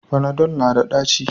Fanadol na da ɗaci